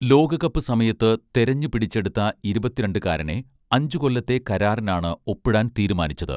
ലോകകപ്പ് സമയത്ത് തെരഞ്ഞു പിടിച്ചെടുത്ത ഇരുപത്തിരണ്ടുകാരനെ അഞ്ചു കൊല്ലത്തെ കരാറിനാണ് ഒപ്പിടാൻ തീരുമാനിച്ചത്